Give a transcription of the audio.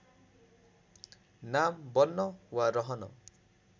नाम बन्न वा रहन